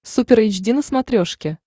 супер эйч ди на смотрешке